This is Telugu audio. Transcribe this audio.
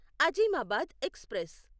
అజీమాబాద్ ఎక్స్ప్రెస్